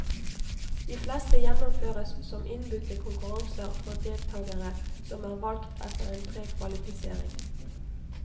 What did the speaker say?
De fleste gjennomføres som innbudte konkurranser for deltagere som er valgt etter en prekvalifisering.